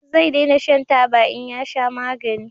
Zai dena shan taba in ya sha magani